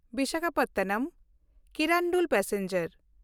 Visakhapatnam Kirandul passenger